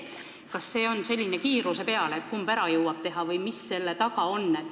Kas see asi käib kiiruse peale, et kumb ära jõuab teha, või mis selle taga on?